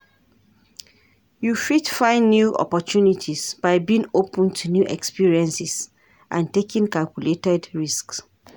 You fit find new opportunities by being open to new experiences and taking calculated risks.